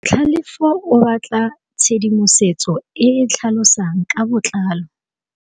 Tlhalefô o batla tshedimosetsô e e tlhalosang ka botlalô.